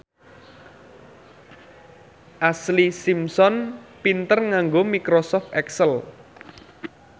Ashlee Simpson pinter nganggo microsoft excel